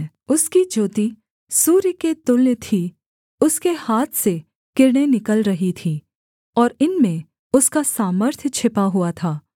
उसकी ज्योति सूर्य के तुल्य थी उसके हाथ से किरणें निकल रही थीं और इनमें उसका सामर्थ्य छिपा हुआ था